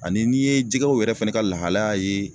Ani n'i ye jɛgɛw yɛrɛ fɛnɛ ka lahalaya ye